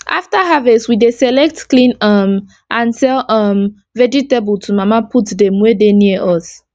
after harvest we dey select clean um and sell um vegetable to mama put dem wey dey near us